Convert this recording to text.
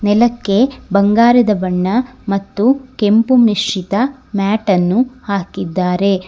ನೆಲಕ್ಕೆ ಬಂಗಾರದ ಬಣ್ಣ ಮತ್ತು ಕೆಂಪು ಮಿಶ್ರಿತ ಮ್ಯಾಟನ್ನು ಹಾಕಿದ್ದಾರೆ.